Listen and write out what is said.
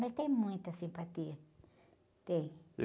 Mas tem muita simpatia, tem.